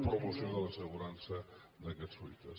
promoció de l’assegurança d’aquests fruiters